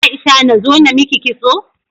Aisha nazo namiki kitso?